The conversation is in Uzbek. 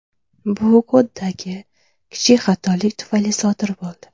Bu koddagi kichik xatolik tufayli sodir bo‘ldi.